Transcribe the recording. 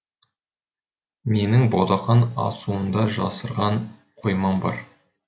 менің ботақан асуында жасырған қоймам бар